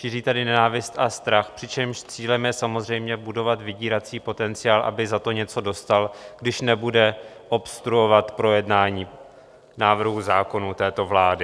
Šíří tady nenávist a strach, přičemž cílem je samozřejmě budovat vydírací potenciál, aby za to něco dostal, když nebude obstruovat projednání návrhů zákonů této vlády.